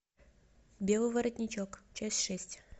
белый воротничок часть шесть